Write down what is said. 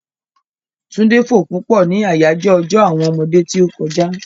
Túndé fò púpọ̀ ni àyájọ́ ọjọ́ àwọn ọmọdé tí ó kọjá.